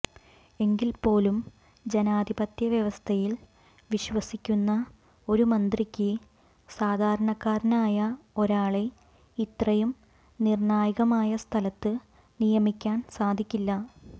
എങ്കിൽ പോലും ജനാധിപത്യ വ്യവസ്ഥയിൽ വിശ്വസിക്കുന്ന ഒരു മന്ത്രിക്ക് സാധാരണക്കാരനായ ഒരാളെ ഇത്രയും നിർണ്ണായകമായ സ്ഥലത്ത് നിയമിക്കാൻ സാധിക്കില്ല